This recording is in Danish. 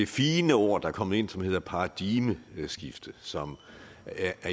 fine ord der er kommet ind som hedder paradigmeskifte som af